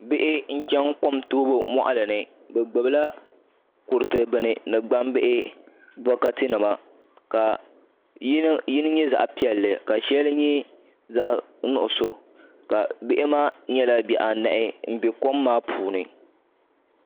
Bihi n chɛŋ kom toobu moɣali ni bi gbubila kuriti bini ni bokati nima ka yini nyɛ zaɣ piɛlli ka shɛli nyɛ zaɣ nuɣso ka bihi maa nyɛla bihi anahi n bɛ kom maa puuni